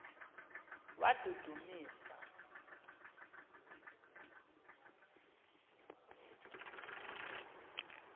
wadudumisa